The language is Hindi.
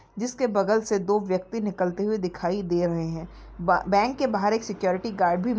जिसके बगल से दो व्यक्ति निकलते हुए दिखाई दे रहे हैं बा बैंक के बाहर एक सिक्योरिटी गार्ड भी--